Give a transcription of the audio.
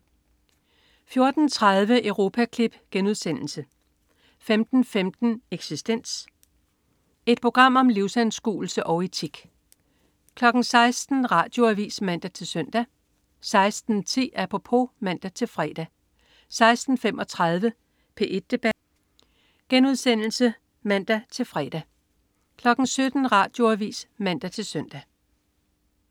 14.30 Europaklip* 15.15 Eksistens. Et program om livsanskuelse og etik 16.00 Radioavis (man-søn) 16.10 Apropos (man-fre) 16.35 P1 debat* (man-fre) 17.00 Radioavis (man-søn)